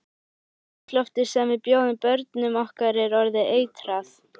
Andrúmsloftið sem við bjóðum börnum okkar er orðið eitrað.